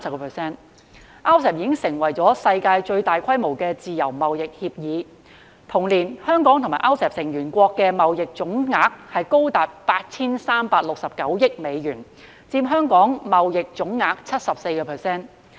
RCEP 已經成為世界最大規模的自由貿易協定；同年，香港與 RCEP 成員國的貿易總額高達 8,369 億美元，佔香港貿易總額 74%。